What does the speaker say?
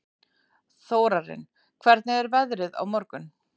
Þórarinn, hvernig er veðrið á morgun?